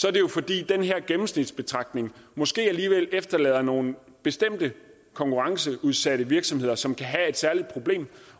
er det jo fordi den her gennemsnitsbetragtning måske alligevel efterlader nogle bestemte konkurrenceudsatte virksomheder som kan have et særligt problem